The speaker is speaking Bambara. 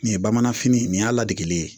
Nin ye bamanfini ye nin y'a ladege ye